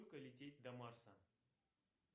сколько лететь до марса